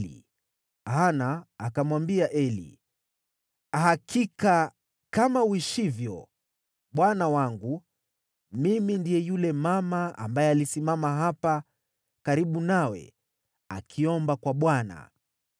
naye Hana akamwambia Eli, “Hakika kama uishivyo, bwana wangu, mimi ndiye yule mama ambaye alisimama hapa karibu nawe akiomba kwa Bwana .